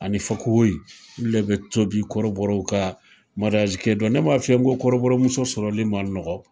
Ani fakoyi olu de be tobi kɔrɔbɔrɔw ka kɛ don . Ne ma f'i ye ko kɔrɔbɔrɔmuso sɔrɔli man nɔgɔ.